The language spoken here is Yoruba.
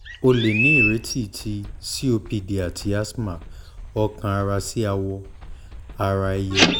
o le ni ireti ti copd ati asthma ọkàn-ara si awọ-ara-ẹyẹ